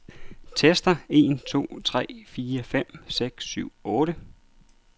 Tester en to tre fire fem seks syv otte.